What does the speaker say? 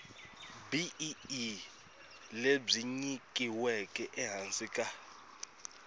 bee lebyi nyikiweke ehansi ka